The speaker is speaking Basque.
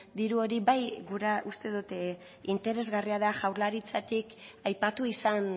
diru hori bai gura uste dut interesgarria da jaurlaritzatik aipatu izan